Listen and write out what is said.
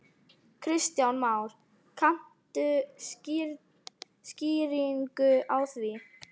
Kristján Már: Kanntu skýringu á því?